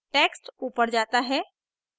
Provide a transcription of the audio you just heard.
text ऊपर जाता है